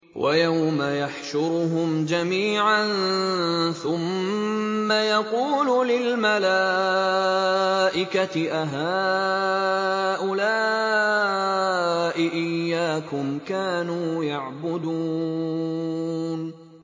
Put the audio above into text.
وَيَوْمَ يَحْشُرُهُمْ جَمِيعًا ثُمَّ يَقُولُ لِلْمَلَائِكَةِ أَهَٰؤُلَاءِ إِيَّاكُمْ كَانُوا يَعْبُدُونَ